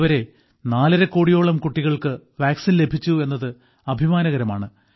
ഇതുവരെ നാലരകോടിയോളം കുട്ടികൾക്ക് വാക്സിൻ ലഭിച്ചു എന്നത് അഭിമാനകരമാണ്